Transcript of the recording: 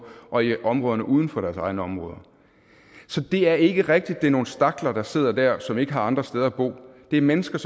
og i områderne uden for deres egne områder så det er ikke rigtigt at det er nogle stakler der sidder der som ikke har andre steder at bo det er mennesker